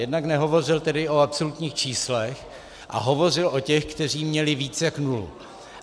Jednak nehovořil tedy o absolutních číslech a hovořil o těch, kteří měli víc jak nulu.